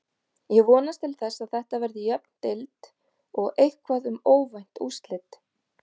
Ég vonast til þess að Þetta verði jöfn deild og eitthvað um óvænt úrslit.